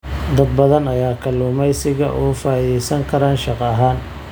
Dad badan ayaa kalluumaysiga uga faa'iidaysan kara shaqo ahaan.